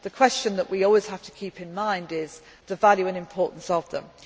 of different summits. The question that we always have to keep in mind is the value